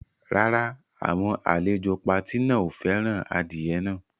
Rárá, àwọn àlejò pati náà ò fẹ́ràn adìyẹ náà.